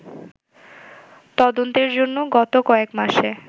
তদন্তের জন্য গত কয়েকমাসে